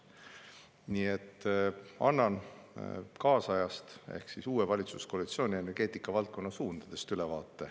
Nii et annan ülevaate kaasajast ehk uue valitsuskoalitsiooni energeetikavaldkonna suundadest.